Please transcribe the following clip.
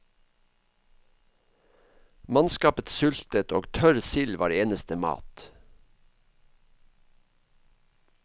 Mannskapet sultet, og tørr sild var eneste mat.